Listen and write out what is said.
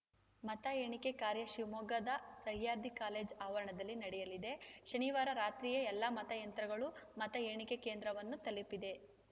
ಮತ ಎಣಿಕೆ ಕಾರ್ಯ ಶಿವಮೊಗ್ಗದ ಸಹ್ಯಾದ್ರಿ ಕಾಲೇಜು ಆವರಣದಲ್ಲಿ ನಡೆಯಲಿದೆ ಶನಿವಾರ ರಾತ್ರಿಯೇ ಎಲ್ಲ ಮತಯಂತ್ರಗಳು ಮತ ಎಣಿಕೆ ಕೇಂದ್ರವನ್ನು ತಲುಪಿದೆ